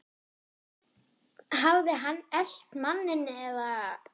Hafði hann elt manninn eða?